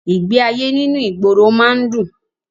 Ìgbé ayé nínú ìgboro má ń dùn